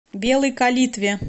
белой калитве